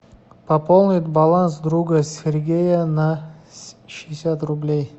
пополнить баланс друга сергея на шестьдесят рублей